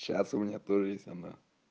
сейчас у меня тоже есть она